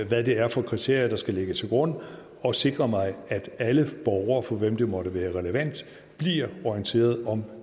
hvad det er for kriterier der skal ligge til grund og sikre mig at alle borgere for hvem det måtte være relevant bliver orienteret om